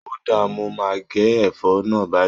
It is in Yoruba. Ó dáà, mo máa gé ẹ̀fọ́ náà báyìí.